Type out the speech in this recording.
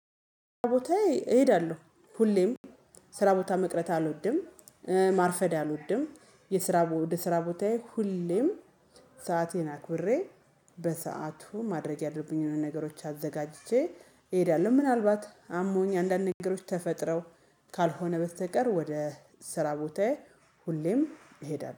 ቦታዬ እሄዳለሁ ሁሌም ስራ ቦታ መቅረት አልወድም። ማርፈድ አልወድም የስራ ወደ ስራ ቦታዬ ሁሌም ሰአቴን አክብሬ በሰአቱ ማድረግ ያለብኝንን ነገሮች አዘጋጅቼ እሄዳለሁ። ምናልባት አሞኝ አንዳንድ ነገሮች ተፈጥረው ካልሆነ በስተቀር ወደ ስራ ቦታዬ ሁሌም እሄዳለሁ